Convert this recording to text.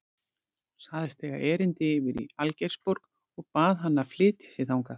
Hún sagðist eiga erindi yfir í Algeirsborg og bað hann að flytja sig þangað.